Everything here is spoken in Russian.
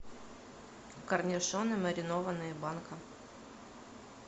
корнишоны маринованные банка